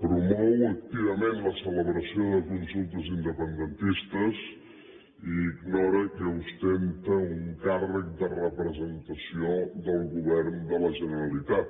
promou activament la celebració de consultes independentistes i ignora que ostenta un càrrec de representació del govern de la generalitat